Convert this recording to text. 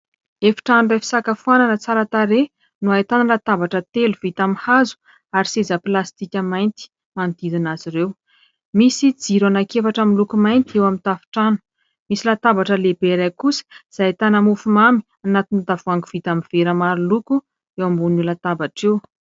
Efitrano iray fisakafoanana tsara tarehy, no ahitana latabatra telo vita amin'ny hazo ary seza plastika mainty manodidina azy ireo. Misy jiro ananki-efatra miloko mainty eo amin'ny tafitrano, misy latabatra lehibe iray kosa izay ahitana mofo mamy anatin'ny tavohangy vita amin'ny vera maro loko eo ambonin'io latabatra io.